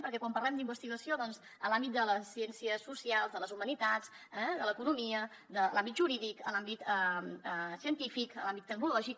perquè quan parlem d’investigació doncs en l’àmbit de les ciències socials de les humanitats l’economia l’àmbit jurídic l’àmbit científic l’àmbit tecnològic